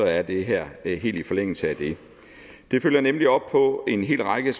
er det her her helt i forlængelse af det det følger nemlig op på en hel række